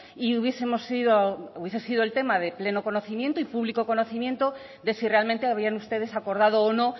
y hubiese sido el tema de plena conocimiento y público conocimiento de si realmente habían ustedes acordado o no